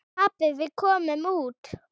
Pabbi, við komumst út!